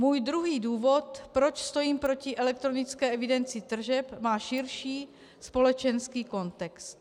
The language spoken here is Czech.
Můj druhý důvod, proč stojím proti elektronické evidenci tržeb, má širší společenský kontext.